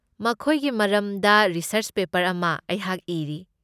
ꯃꯈꯣꯏꯒꯤ ꯃꯔꯝꯗ research paper ꯑꯃ ꯑꯩꯍꯥꯛ ꯏꯔꯤ꯫